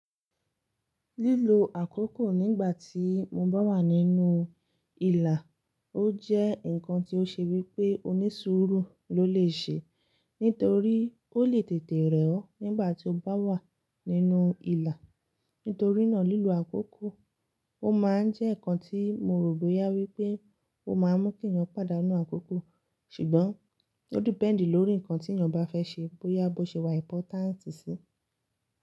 Lílo àkókò nígbà tí mo bá wà nínú ìlà, ó jẹ́ ǹkan tí ó ṣe wí pé onísùúrù ló lè ṣe, nítorí ó lè tètè rẹ̀ ọ́ nígbà tí ó bá wà nínú ìlà. Nítorínà lílo àkókò, ó máa ń jẹ́ ǹkan tí mo rò bóyá wí pé ó máa ń mú kí ènìyàn pàdánù àkókò. Ṣùgbọ́n ó depend lórí ǹkan tí ènìyàn bá fẹ́ ṣe, bóyá bó ṣe wà important sí.